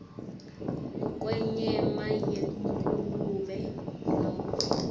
kwenyama yengulube nobe